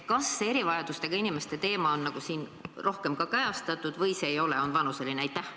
Kas see erivajadustega inimeste teema on siin rohkem ka kajastatud või seda ei ole, on vaid vanuseline?